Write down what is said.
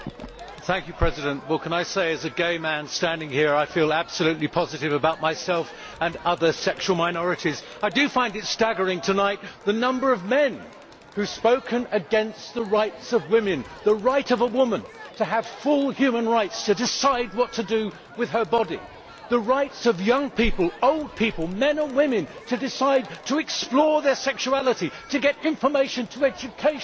Mr President, I would like to say, as a gay man standing here, that I feel absolutely positive about myself and other sexual minorities. I find staggering the number of men who have spoken tonight against the rights of women the right of a woman to have full human rights and to decide what to do with her body, and the rights of young people, old people, men and women, to decide to explore their sexuality and to get information through education